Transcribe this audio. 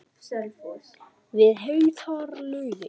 Við heitar laugar